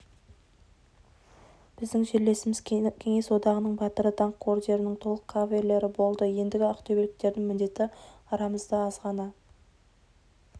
біздің жерлесіміз кеңес одағының батыры даңқ орденінің толық кавалері болды ендігі ақтөбеліктердің міндеті арамызда аз ғана